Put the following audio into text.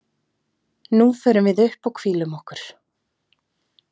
Nú förum við upp og hvílum okkur.